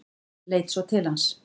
Leit svo til hans.